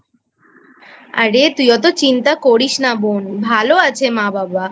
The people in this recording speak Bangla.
আরে তুই অত চিন্তা করিস না বোন ভালো আছে মা বাবা।